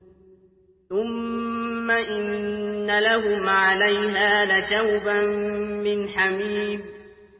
ثُمَّ إِنَّ لَهُمْ عَلَيْهَا لَشَوْبًا مِّنْ حَمِيمٍ